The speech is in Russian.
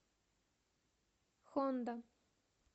хонда